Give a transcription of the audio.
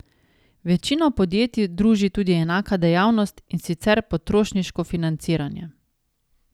Večino podjetij druži tudi enaka dejavnost, in sicer potrošniško financiranje.